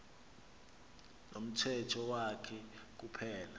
nomthetho wakhe kuphela